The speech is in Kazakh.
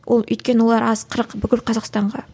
ол өйткені олар аз қырық бүкіл қазақстанға